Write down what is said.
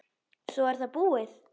Svo er það búið.